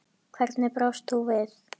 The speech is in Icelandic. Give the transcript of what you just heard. Hvernig brást þú við?